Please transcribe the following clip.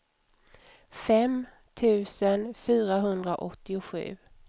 fem tusen fyrahundraåttiosju